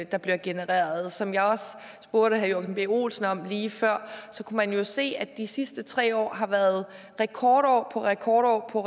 der bliver genereret som jeg også spurgte herre joachim b olsen om lige før kunne man jo se at de sidste tre år har været rekordår på rekordår og